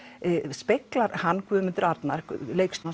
speglar hann Guðmundur Arnar leikstjóri